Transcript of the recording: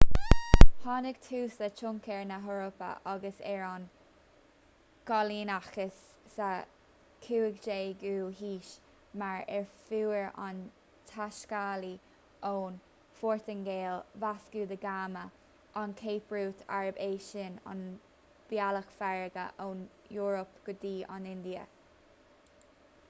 tháinig tús le tionchar na heorpa agus ar an gcoilíneachas sa 15ú haois mar a fuair an taiscéalaí ón phortaingéil vasco da gama an cape route arb é sin an bealach farraige ón eoraip go dtí an india